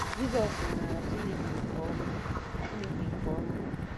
Jizọs maara Chineke nke ọma Chineke nke ọma.